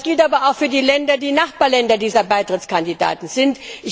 Das gilt aber auch für die Länder, die Nachbarländer dieser Beitrittskandidaten sind.